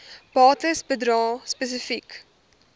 bates bedrae spesifiek